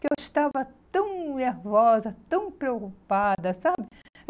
que eu estava tão nervosa, tão preocupada, sabe?